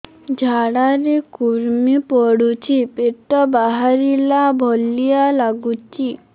ଝାଡା ରେ କୁର୍ମି ପଡୁଛି ପେଟ ବାହାରିଲା ଭଳିଆ ଲାଗୁଚି